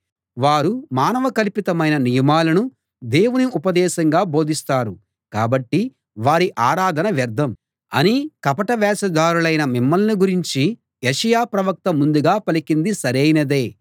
వారు మానవ కల్పితమైన నియమాలను దేవుని ఉపదేశంగా బోధిస్తారు కాబట్టి వారి ఆరాధన వ్యర్థం అని కపట వేషధారులైన మిమ్మల్ని గురించి యెషయా ప్రవక్త ముందుగా పలికింది సరైనదే